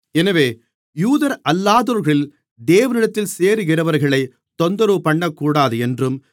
எனவே யூதரல்லாதோர்களில் தேவனிடத்தில் சேருகிறவர்களைத் தொந்தரவுபண்ணக்கூடாது என்றும்